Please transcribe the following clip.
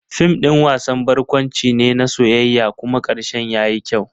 Fim ɗin wasan barkwanci ne na soyayya kuma karshen yayi kyau.